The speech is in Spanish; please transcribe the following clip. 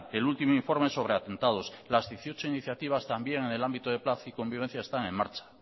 el último informe sobre atentados las dieciocho iniciativas también en el ámbito de paz y convivencia están en marcha